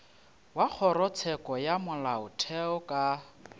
wa kgorotsheko ya molaotheo ka